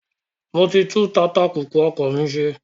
Mo ti tún tatapùpù ọkọ̀ mi ṣe